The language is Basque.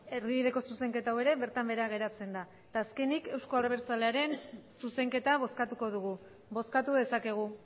erdibideko zuzenketa hau ere bertan behera geratzen da eta azkenik euzko abertzalearen zuzenketa bozkatuko dugu bozkatu dezakegu